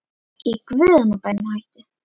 Í guðanna bænum hættu